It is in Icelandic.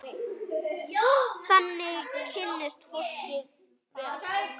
Þannig kynnist fólk líka vel.